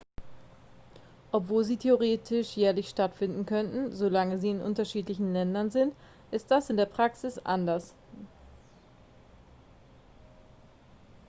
obwohl sie theoretisch jährlich stattfinden können solange sie in unterschiedlichen ländern sind ist das in der praxis anders